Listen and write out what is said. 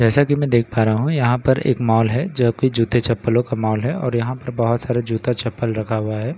जैसा कि मैं देख पा रहा हूं यहां पर एक मॉल है जो कि जूते-चप्‍पलों का मॉल है और यहां पर बहुत सारे जूता चप्‍पल रखा हुआ है एक --